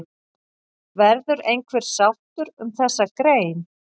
Verður einhver sátt um þessa grein?